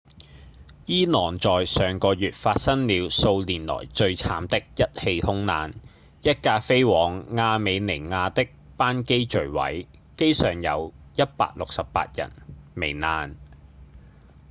伊朗在上個月發生了數年來最慘的一起空難一架飛往亞美尼亞的班機墜毀機上有168人罹難